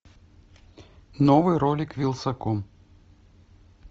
новый ролик вилсаком